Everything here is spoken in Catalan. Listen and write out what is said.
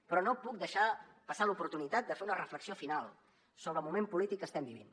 però no puc deixar passar l’oportunitat de fer una reflexió final sobre el moment polític que estem vivint